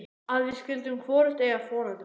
Að við skyldum hvorugt eiga foreldra.